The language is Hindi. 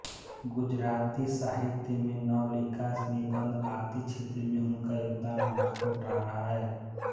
गुजराती साहित्य में नवलिका निबंध आदि क्षेत्र में उनका योगदान महत्वपूर्ण रहा है